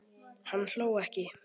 Hann hló ekki.